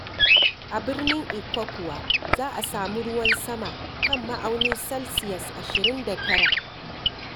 A birnin Ikko kuwa za a sami ruwan sama kan ma'aunin salsiyas ashirin da tara.